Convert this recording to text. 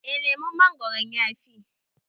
eh lemon mongoron ya Fi